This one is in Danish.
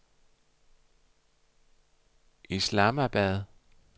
Islamabad